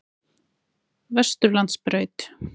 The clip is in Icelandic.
Vesturlandsbraut